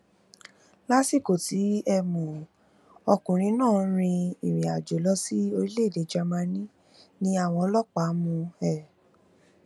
lásìkò tí um ọkùnrin náà ń rin ìrìnàjò lọ sí orílẹèdè germany ni àwọn ọlọpàá mú un um